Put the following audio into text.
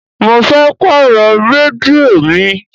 Mo fẹ́ pàrọ̀ rédíò mi.